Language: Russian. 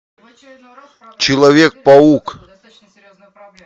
человек паук